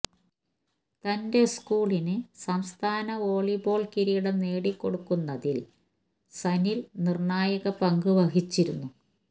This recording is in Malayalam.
തന്റെ സ്കൂള് നു സംസ്ഥാന വോളി ബോള് കിരീടം നേടിക്കൊടുക്കുന്നതില് സനില് നിര്ണായക പങ്കു വഹിച്ചിരുന്നു